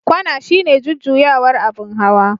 kwana shine jujjuyawar abin hawa.